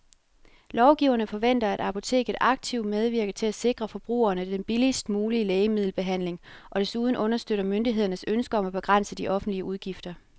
Lovgiverne forventer, at apoteket aktivt medvirker til at sikre forbrugerne den billigst mulige lægemiddelbehandling og desuden understøtter myndighedernes ønske om at begrænse de offentlige udgifter.